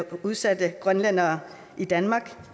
udsatte grønlændere i danmark